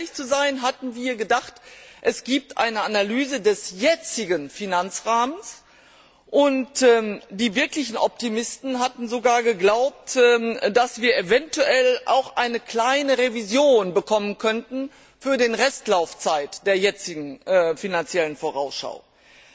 Um ehrlich zu sein, hatten wir gedacht, es werde eine Analyse des jetzigen Finanzrahmens geben, und die wirklichen Optimisten hatten sogar geglaubt, dass wir eventuell auch eine kleine Revision für die Restlaufzeit der jetzigen finanziellen Vorausschau bekommen